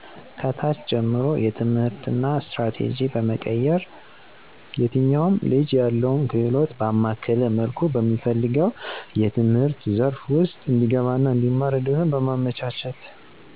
ከታች ጀምሮ የትምህርትና ስትራቴጂ በመቀየር የትኛውንም ልጅ ያለውን ክህሎት ባማከለ መልኩ በሚፈልገው የትምህርት ዘርፍ ውስጥ እንዲገባና እንዲማር እድሉን በማመቻቸት